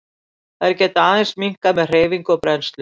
Þær geta aðeins minnkað með hreyfingu og brennslu.